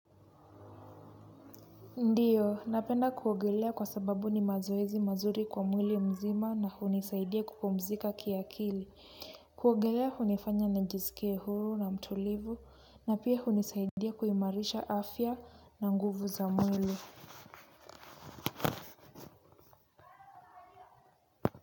Ndio, napenda kuogelea kwa sababu ni mazoezi mazuri kwa mwili mzima na hunisaidia kupumzika kiakili. Kuogelea hunifanya na njisikie huru na mtulivu, na pia hunisaidia kuimarisha afya na nguvu za mwili.